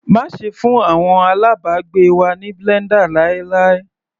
Má ṣe fún àwọn alábàgbé wa ní blender láíláí.